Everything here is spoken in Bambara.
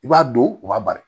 I b'a don u b'a bari